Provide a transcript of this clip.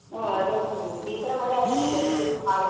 ಹಾ ಅದೇ ಅಂತೇನಿ ಈ ತರಾ ಮಳಿ ಆದ್ರ್ ಜನರ ಜೀವನ ಹಾಳ್.